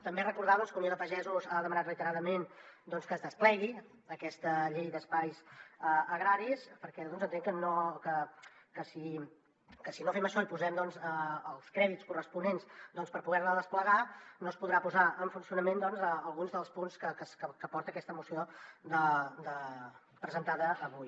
també recordar que unió de pagesos ha demanat reiteradament que es desplegui aquesta llei d’espais agraris perquè entenc que si no fem això i posem els crèdits corresponents per poder la desplegar no es podran posar en funcionament alguns dels punts que porta aquesta moció presentada avui